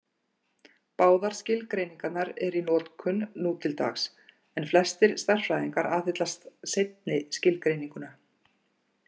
Báðar skilgreiningarnar eru í notkun nú til dags, en flestir stærðfræðingar aðhyllast seinni skilgreininguna.